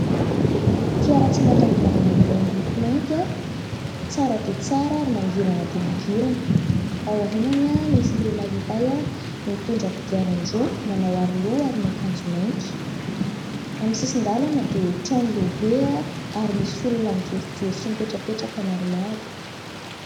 Fiara tsy mataho-dalana iray miloko mainty, tsara dia tsara ary mangirana dia mangirana. Aorianany misy lehilahy iray mitondra kodiaran-droa manao aroloha ary miakanjo mainty. Eo amin'ny sisin-dalana dia trano lehibe ary misy olona mijorojoro sy mipetrapetraka maromaro.